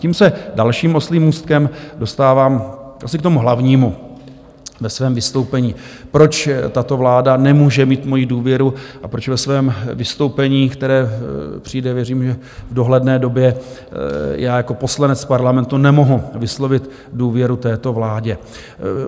Tím se dalším oslím můstkem dostávám asi k tomu hlavnímu ve svém vystoupení, proč tato vláda nemůže mít moji důvěru a proč ve svém vystoupení, které přijde, věřím, že v dohledné době, já jako poslanec Parlamentu nemohu vyslovit důvěru této vládě.